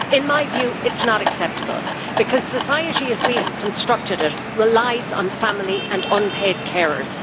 In my view it is not acceptable, because society, as we have constructed it, relies on family and unpaid carers.